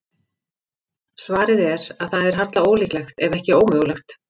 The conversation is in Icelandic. Svarið er að það er harla ólíklegt, ef ekki ómögulegt.